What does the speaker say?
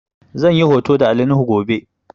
Zan yi hoto da Ali nuhu gobe